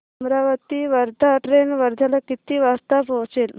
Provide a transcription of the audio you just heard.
Amravati Wardha train वर्ध्याला किती वाजता पोहचेल